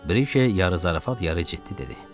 Briki yarı zarafat yarı ciddi dedi.